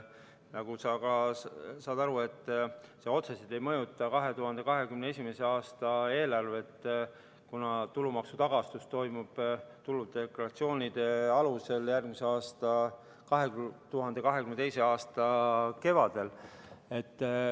Nagu sa ka aru saad, see otseselt ei mõjuta 2021. aasta eelarvet, kuna tulumaksutagastus toimub tuludeklaratsioonide alusel 2022. aasta kevadel.